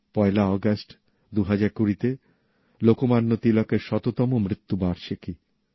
১লা আগস্ট ২০২০তে লোকমান্য তিলকের শততম মৃত্যুবার্ষিকী